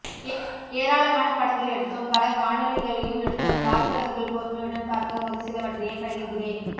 ஏராளமான படங்கள் எடுத்தோம் பல காணொளிகளையும் எடுத்தோம் வாசகர்கள் பொறுமையுடன் பார்க்க ஒரு சிலவற்றையே பகிர்கிறேன்